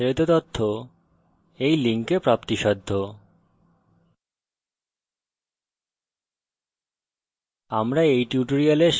এই বিষয়ে বিস্তারিত তথ্য এই লিঙ্কে প্রাপ্তিসাধ্য